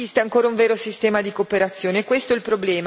Ma non esiste ancora un vero sistema di cooperazione.